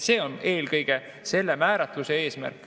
See on eelkõige selle määratluse eesmärk.